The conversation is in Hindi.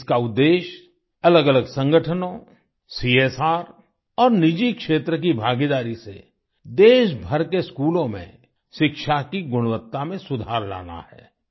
इसका उद्देश्य अलगअलग संगठनों सीएसआर और निजी क्षेत्र की भागीदारी से देशभर के स्कूलों में शिक्षा की गुणवत्ता में सुधार लाना है